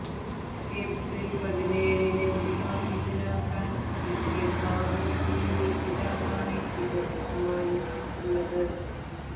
April പതിനേഴിന് വിവാഹിതനാകാൻ ഇരിക്കെ ഭാവി വധുവിന്റെ പിതാവാണ് ഇത് സമ്മാനിച്ചിട്ടുള്ളത്